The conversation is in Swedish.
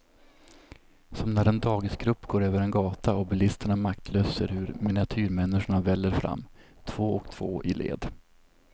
Som när en dagisgrupp går över en gata och bilisterna maktlöst ser hur miniatyrmänniskorna väller fram, två och två i led.